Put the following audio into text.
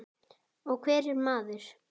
Og hver er maður?